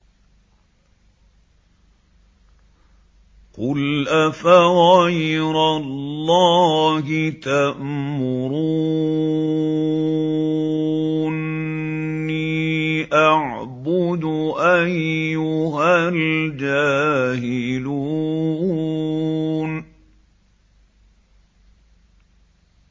قُلْ أَفَغَيْرَ اللَّهِ تَأْمُرُونِّي أَعْبُدُ أَيُّهَا الْجَاهِلُونَ